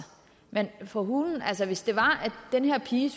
men for hulen hvis det var at den her pige